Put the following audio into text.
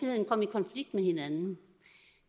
konflikt med hinanden